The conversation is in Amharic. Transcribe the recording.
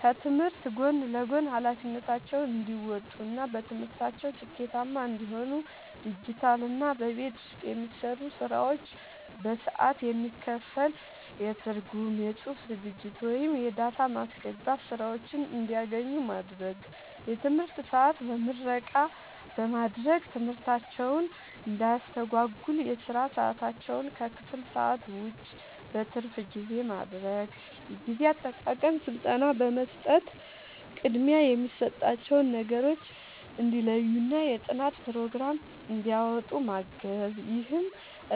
ከትምህርት ጎን ለጎን ኃላፊነታቸውን እንዲወጡ እና በትምህርታቸው ስኬታማ እንዲሆኑ ዲጂታልና በቤት ውስጥ የሚሰሩ ስራዎች በሰዓት የሚከፈል የትርጉም፣ የጽሑፍ ዝግጅት ወይም የዳታ ማስገባት ሥራዎችን እንዲያገኙ ማድረግ። የትምህርት ሰዓት በምረቃ በማድረግ ትምህርታቸውን እንዳያስተጓጉል የሥራ ሰዓታቸውን ከክፍል ሰዓት ውጭ (በትርፍ ጊዜ) ማድረግ። የጊዜ አጠቃቀም ሥልጠና በመስጠት ቅድሚያ የሚሰጣቸውን ነገሮች እንዲለዩና የጥናት ፕሮግራም እንዲያወጡ ማገዝ። ይህም